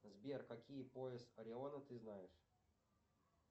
сбер какие пояс ориона ты знаешь